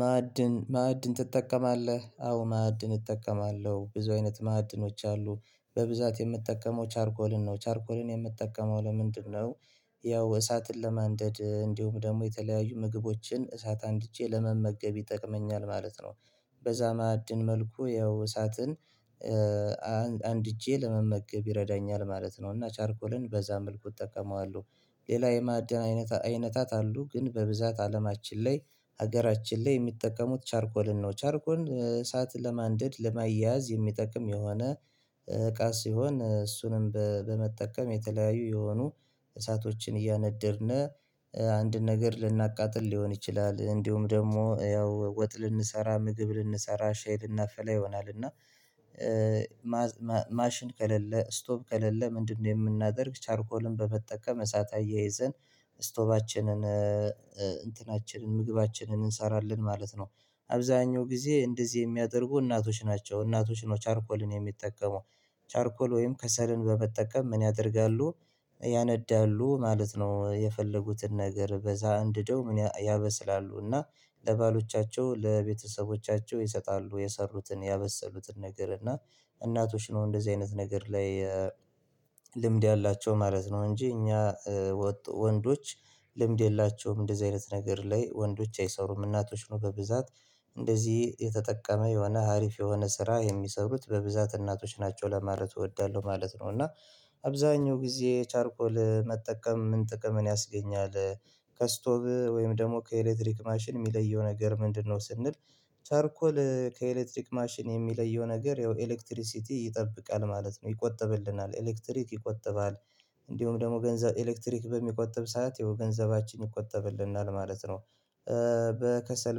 ማዕድን፣ ማዕድን ትጠቀማለህ? አዎ ማዕድን እጠቀማለሁ። ብዙ አይነት ማዕድኖች አሉ። በብዛት የምትጠቀመው ቻርኮልን ነው። ቻርኮልን የምትጠቀመው ለምንድነው? ያው እሳትን ለማንደድ እንዲሁም ደግሞ የተለያዩ ምግቦችን እሳት አንድቼ ለመመገብ ይጠቅመኛል ማለት ነው። በዛ ማዕድን መልኩ ያው እሳትን አንድጄ ለመመገብ ይረዳኛል ማለት ነው። እና ቻርኮልን በዛ መልኩ እጠቀመዋለሁ። ሌላ የማዕድን አይነት፣ አይነታት አሉ። ግን በብዛት አለማችን ላይ፣ ሀገራችን ላይ የሚጠቀሙት ቻርኮልን ነው። ቻርኮልን እሳት ለማንደድ ለማያያዝ የሚጠቅም የሆነ እቃ ሲሆን እሱንም በመጠቀም የተለያዩ የሆኑ እሳቶችን እያነደድን አንድን ነገር ልናቃጥል ሊሆን ይችላል፣ እንዲሁም ደግሞ ያው ወጥ ልንሰራ፣ ምግብ ልንሰራ፣ ሻይ ልናፈላ ይሆናል። እና ማሽን ከሌለ፣ ስቶፕ ከሌለ ምንድነው የምናደርግ? ቻርኮልን በመጠቀም እሳት አያይዘን ስቶባችንን እንትናችንን፣ ምግባችንን እንሰራለን ማለት ነው። አብዛኛው ጊዜ እንደዚህ የሚያደርጉ እናቶች ናቸው እናቶች ነው ቻርኮልን የሚጠቀሙ። ቻርኮል ወይም ከሰርን በመጠቀም ምን ያደርጋሉ? ያነዳሉ ማለት ነው የፈለጉትን ነገር በዛ እንድደው ምን፣ ያበስላሉ እና ለባሎቻቸው ለቤተሰቦቻቸው ይሰጣሉ የሰሩትን ያበሰሉትን ነገር። እና እናቶች ነው እንደዚህ አይነት ነገር ላይ ልምድ ያላቸው ማለት ነው እንጂ እኛ ወንዶች ልምድ የላቸውም እንደዚህ አይነት ነገር ላይ። ወንዶች አይሰሩም፣ እናቶች ነው በብዛት እንደዚህ የተጠቀመ የሆነ ሀሪፍ የሆነ ስራ የሚሰሩት በብዛት እናቶች ናቸው ለማረቱ እወዳለሁ ማለት ነው። እና አብዛኛው ጊዜ ቻርቆል መጠቀም ምን ጥቅም ያስገኛል? ከስቶቭ ወይም ደግሞ ከኤሌክትሪክ ማሽን የሚለየው ነገር ምንድነው? ስንል ቻርኮል ከኤሌክትሪክ ማሽን የሚለየው ነገር ያው ኤሌክትሪሲቲ ይጠብቃል ማለት ነው፣ ይቆጥብልናል ኤሌክትሪክ ይቆጥባል፣ እንዲሁም ደግሞ ገንዘብ ኤሌክትሪክ በሚቆጥብ ሰዓት የገንዘባችን ይቆጠብልናል ማለት ነው። በከሰል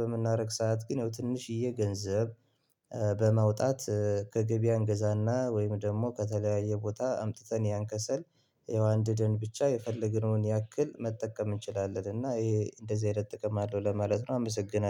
በምናረግሰው ሰዓት ግን ይው ትንሽዬ ገንዘብ በማውጣት ከገበያ እንገዛና ወይም ደግሞ ከተለያየ ቦታ አምጥተን ያንከሰል ያው አንድደን ብቻ የፈለግነውን ያክል መጠቀም እንችላለን እና ይሄ እንደዚህ አይነት ጥቅም አለው ለማለት ነው። አመሰግናለሁ።